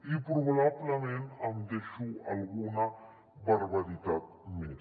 i probablement em deixo alguna barbaritat més